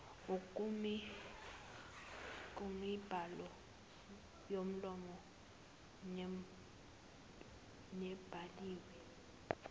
kumibhalo yomlomo nebhaliwe